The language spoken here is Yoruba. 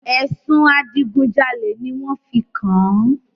Ẹ̀sùn adigun jalè ni wọn fi kàn-án